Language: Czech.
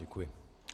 Děkuji.